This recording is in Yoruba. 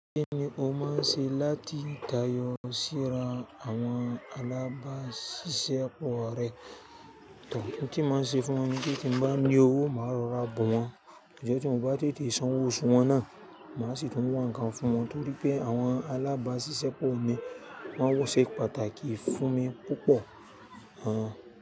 Kí ni o máa ń ṣe láti tayọ síra àwọn alábáṣiṣẹ́ pọ̀ rẹ? Ohun tí mo máa ń ṣe fún wọn ni pé tí mo bá ní owó, màá rọra bọ̀ wọ́n. Ijo tí wọn bá tètè san owó osù wọn náà, màá sì tún wá nǹkan fún wọn nítorí pé àwọn alábáṣiṣẹ́ pọ̀ mi wọ̀n sẹ̀ pàtàkì fún mi púpọ̀.